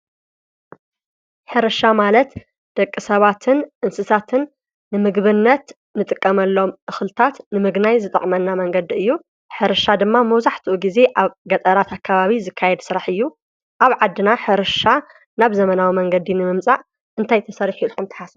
ሕርሻ ማለት ደቂ ሰባትን እንስሳትን ንምግብነት ንጥቀመሎም ተኽልታት ንምግናይ ዝጠቕመና መንገዲ እዩ። ሕርሻ ድማ መውዙሕትኡ ጊዜ ኣብ ገጠራት ኣካባቢ ዝካየድ ሥራሕ እዩ ኣብ ዓድና ሕርሻ ናብ ዘመናዊ መንገዲ ንመምጻእ እንታይተሠርሕ ኢልኹም ተሓስቡ?